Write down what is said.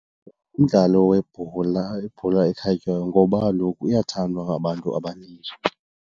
Umdlalo webhola, ibhola ekhatywayo ngoba kaloku iyathandwa ngabantu abanintsi.